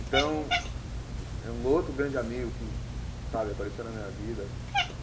Então, é um outro grande amigo que, sabe, apareceu na minha vida.